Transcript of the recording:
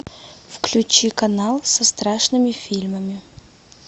включи канал со страшными фильмами